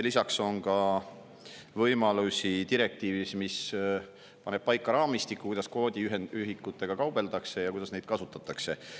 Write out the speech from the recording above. Lisaks on direktiivis võimalusi, mis paneb paika raamistiku, kuidas kvoodiühikutega kaubeldakse ja kuidas neid kasutatakse.